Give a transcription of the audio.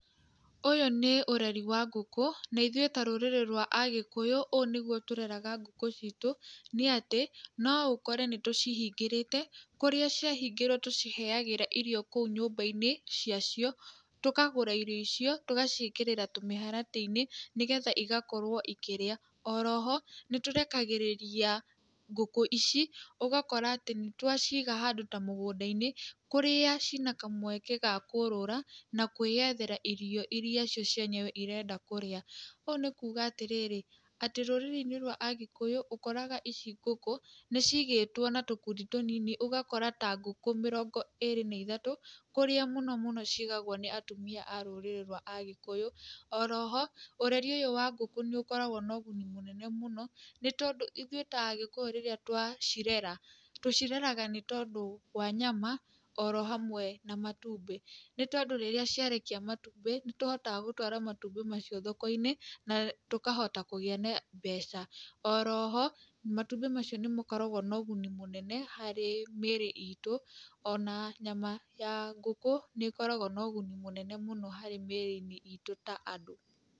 Ũyũ nĩ ũreri wa ngũkũ, na ĩthuĩ ta rũrĩrĩ rwa Agĩkũyũ ũũ nĩguo tũreraga ngũkũ ciitũ, nĩ atĩ no ũkore nĩ tũcihĩngĩrĩte, kũria ciahingĩrwo tũciheagĩra irio kũu nyũmba-inĩ cia cio, tũkagũra irio icio tũgaciĩkĩrĩra tũmĩharatĩ-inĩ, nĩgetha igakorwo ikĩrĩa, oroho, nĩ tũrekagĩrĩria ngũkũ ici ũgakora atĩ nĩ twaciga handũ ta mũgũnda-inĩ, kũrĩa ci na kamweka ga kũrũra, na kwĩyetera irio ira icio cie- enyewe irenda kũrĩa ũũ nĩ kuga atĩ rĩrĩ atĩ rũrĩrĩ-inĩ rwa Agĩkũyũ ũkoraga ici ngũkũ nĩ cigĩtwo na tũkundi tũnini ũgakora ta ngũkũ mĩrongo ĩri na ithatũ kũrĩa mũno mũno ciigagwo nĩ atumia a rũrĩrĩ rwa agĩkũyũ. Oroho, ũreri ũyũ wa ngũkũ nĩ ũkoragwo na ũguni mũnene mũno, nĩ tondũ ithuĩ ta Agĩkuyu rĩrĩa twa cirera, tũcireraga nĩ tondũ wa nyama, oro hamwe na matumbĩ, nĩ tondũ rĩrĩa ciarekia matumbĩ, nĩ tũhotaga gũtwara matumbĩ macio thoko-inĩ na tũkahota kũgĩa na mbeca. Oroho, matumbĩ macio nĩ makoragwo na ũgũni mũnene harĩ mĩĩrĩ itũ, ona nyama ya ngũkũ nĩ ĩkoragwo na ũguni mũnene mũno harĩ mĩĩrĩ-inĩ itũ ta andũ.